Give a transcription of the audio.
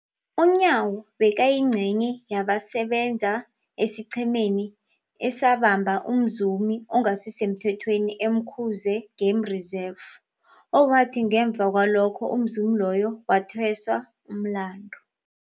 UNyawo bekayingcenye yabasebenza esiqhemeni esabamba umzumi ongasisemthethweni e-Umkhuze Game Reserve, owathi ngemva kwalokho umzumi loyo wathweswa umlandu.